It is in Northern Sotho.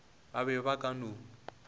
ba be ba ka no